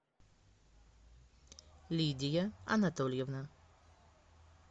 лидия анатольевна